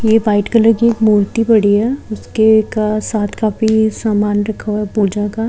ये white colour की एक मूर्ति पड़ी है जिसके का साथ काफी सामान रखा हुआ है पूजा का --